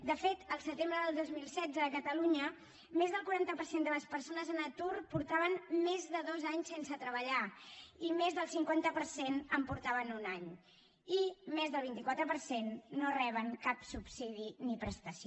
de fet al setembre del dos mil setze a catalunya més del quaranta per cent de les persones en atur feia més de dos anys que no treballaven i més del cinquanta per cent feia un any i més del vint quatre per cent no reben cap subsidi ni prestació